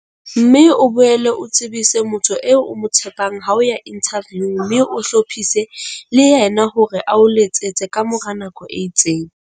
Mme o boele o tsebise motho eo o mo tshepang ha o ya inthaviung mme o hlophise le yena hore a o letsetse ka mora nako e itseng.